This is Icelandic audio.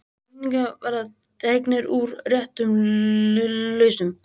Vinningar verða dregnir úr réttum lausnum